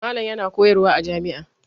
Malam yana koyarwa a jami'a.